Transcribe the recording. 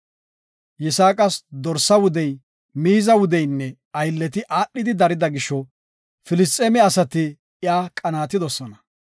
Yisaaqas dorsa wudey, miiza wudeynne aylleti aadhidi darida gisho, Filisxeeme asati iya qanaatidosona.